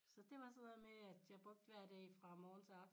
Så det var sådan noget med jeg brugte hver dag fra morgen til aften